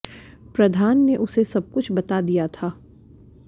प्रधान ने उसे सब कुछ बता दिया था